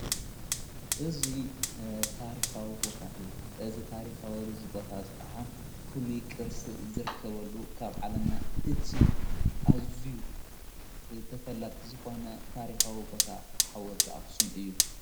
እዙይ ታሪኻዊ ቦታ እዩ እዝ ታሪኻወዙይ ቦታ ዝኸዓ ፍሉ ቅርሲ ዝርከበሉ ካብ ዓለምና እቲ ኣዙዩ ተፈላጥ ዝኾነ ታሪኻዊ ውቦታ ሓወልተ ኣኹስም እዩ።